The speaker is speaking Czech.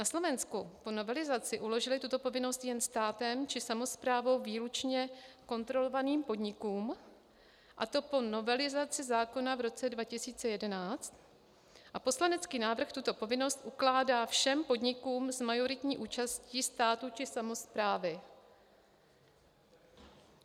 Na Slovensku po novelizaci uložili tuto povinnost jen státem či samosprávou výlučně kontrolovaným podnikům, a to po novelizaci zákona v roce 2011, a poslanecký návrh tuto povinnost ukládá všem podnikům s majoritní účastí státu či samosprávy.